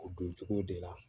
O dun cogo de la